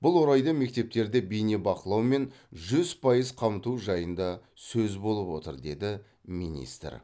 бұл орайда мектептерді бейнебақылаумен жүз пайыз қамту жайында сөз болып отыр деді министр